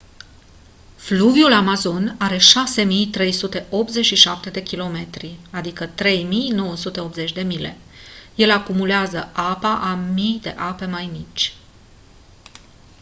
fluviul amazon are 6.387 km 3.980 mile. el acumulează apa a mii de ape mai mici